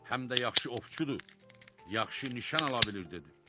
Həm də yaxşı ovçudur, yaxşı nişan ala bilir dedi.